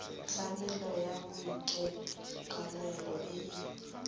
tlamelo ya boitekanelo e e